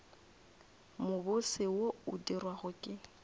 mobose wo o dirwago ke